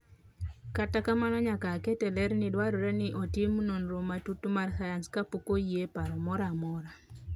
Kata kamano nyaka aket ler ni dwarore ni otim nonro matut mar sayans kapok oyieparo moro amora.